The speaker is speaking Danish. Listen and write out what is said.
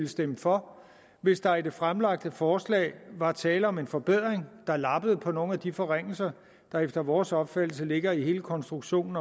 stemme for hvis der i det fremsatte forslag var tale om en forbedring der lappede på nogle af de forringelser der efter vores opfattelse ligger i hele konstruktionen